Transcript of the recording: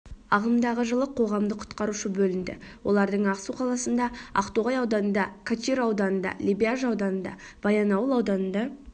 ағымдағы жылы қоғамдық құтқарушы бөлінді олардың ақсу қаласында ақтоғай ауданында качиры ауданында лебяжі ауданында баянауыл ауданында